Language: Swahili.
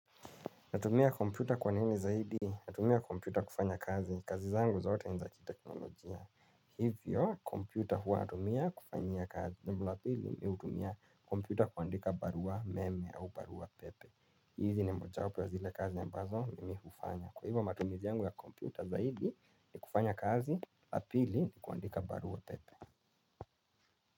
Natumia kompyuta kwa nini zaidi. Natumia kompyuta kufanya kazi. Kazi zangu zote nizakiteknolojia. Hivyo, kompyuta huwa natumia kufanyia kazi. Jumapili me hutumia kompyuta kuandika barua meme au barua pepe hizi ni moja wapo ya zile kazi ambazo mi hufanya. Kwa hivyo matumizi yangu ya kompyuta zaidi ni kufanya kazi. Yapili ni kuandika barua pepe.